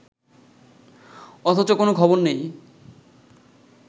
অথচ কোনো খবর নেই